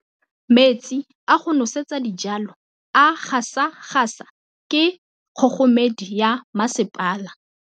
Metsi a go nosetsa dijalo a gasa gasa ke kgogomedi ya masepala.